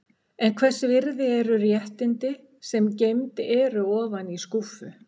En hvers virði eru réttindi sem geymd eru ofan í skúffu?